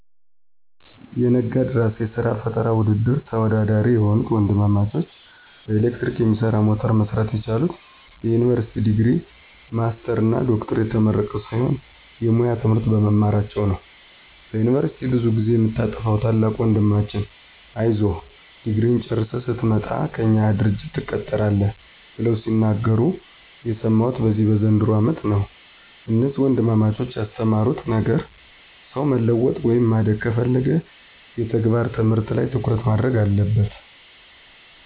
የነጋድራስ የስራ ፈጠራ ውድድር ተወዳዳሪ የሆኑት ወንድማማቾች በኤሌክትሪክ የሚሰራ ሞተር መስራት የቻሉት የዩኒቨርሲቲ ዲግሪ፣ ማስተርስ እና ዶክትሬት ተመርቀው ሳይሆን የሙያ ትምህርት በመማራቸው ነው። በዩኒቨርስቲ ብዙ ጊዜ የምታጠፋዉ ታላቁ ወንድማችን አይዞህ ድግሪህን ጨርሰህ ስትመጣ ከእኛ ድርጅት ትቀጠራለህ ብለው ሲናገሩ የሰማሁት በዚህ በዘንድሮው አመት ነው። እነዚህ ወንድማማቾች ያስተማሩት ነገር ሰው መለወጥ ወይም ማደግ ከፈለገ የተግባር ትምህርት ላይ ትኩረት ማድረግ አለበት።